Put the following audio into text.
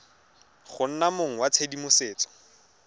go nna mong wa tshedimosetso